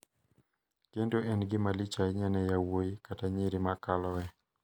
Kendo en gimalich ahinya ne yowuoyi kata nyiri ma kaloe.